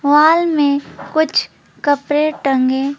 wall में कुछ कपड़े टंगे--